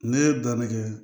Ne ye danni kɛ